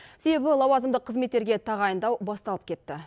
себебі лауазымдық қызметтерге тағайындау басталып кетті